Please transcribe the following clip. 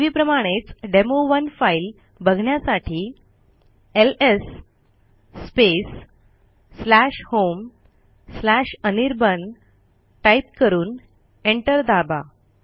पूर्वीप्रमाणेच demo one file बघण्यासाठी LS homeanirban type करून एंटर दाबा